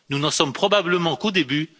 Nous n'en sommes probablement qu'au début.